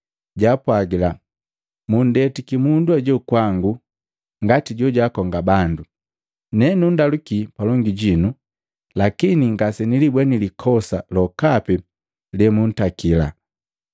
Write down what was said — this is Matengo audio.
jaapwagila, “Mundetiki mundu ajoo kwangu ngati jojaakonga bandu. Ne nundaluki palongi jinu, lakini ngasenilibweni likosa lokapi lemuntakali.